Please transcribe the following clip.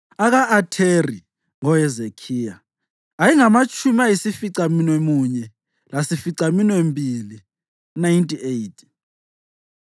aka-Atheri (ngoHezekhiya) ayengamatshumi ayisificamunwemunye lasificaminwembili (98),